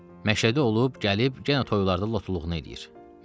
Məşhədə olub, gəlib, yenə oralarda lotuluğunu eləyir.